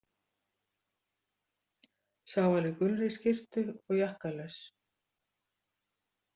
Sá var í gulri skyrtu og jakkalaus.